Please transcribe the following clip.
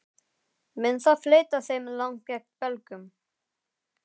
Mun það fleyta þeim langt gegn Belgum?